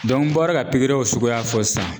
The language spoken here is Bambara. n bɔra ka pikiriw suguya fɔ sisan